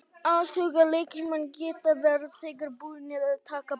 Athugið að leikmenn geta verið þegar búnir að taka bannið út.